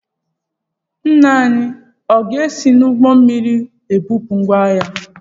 Nna ya ọ ga-esi n'ụgbọ mmiri ebupụ ngwá ahịa?